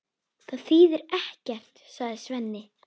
Það þýðir ekkert, sagði Svenni.